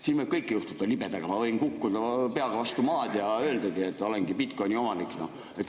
Siin võib kõike juhtuda, libedaga ma võin kukkuda peaga vastu maad ja öelda, et olengi bitcoin'i omanik.